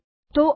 બસ આટલું જ